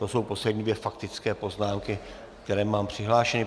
To jsou poslední dvě faktické poznámky, které mám přihlášeny.